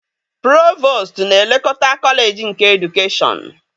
Provostu na-elekọta kọleji nke edukeshọn